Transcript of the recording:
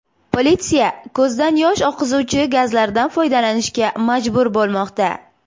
Politsiya ko‘zdan yosh oqizuvchi gazlardan foydalanishga majbur bo‘lmoqda.